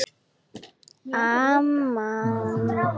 Amman